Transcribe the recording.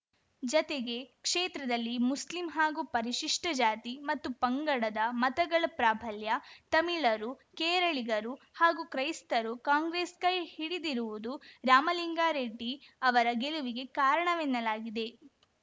ಜತೆಗೆ ಕ್ಷೇತ್ರದಲ್ಲಿ ಮುಸ್ಲಿಂ ಹಾಗೂ ಪರಿಶಿಷ್ಟಜಾತಿ ಮತ್ತು ಪಂಗಡದ ಮತಗಳ ಪ್ರಾಬಲ್ಯ ತಮಿಳರು ಕೇರಳಿಗರು ಹಾಗೂ ಕ್ರೈಸ್ತರು ಕಾಂಗ್ರೆಸ್‌ ಕೈ ಹಿಡಿದಿರುವುದು ರಾಮಲಿಂಗಾರೆಡ್ಡಿ ಅವರ ಗೆಲುವಿಗೆ ಕಾರಣವೆನ್ನಲಾಗಿದೆ